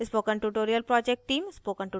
spoken tutorial project team